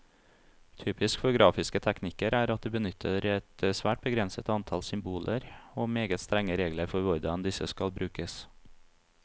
Typisk for grafiske teknikker er at de benytter et svært begrenset antall symboler, og meget strenge regler for hvordan disse skal brukes.